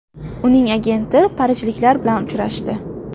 Uning agenti parijliklar bilan uchrashdi.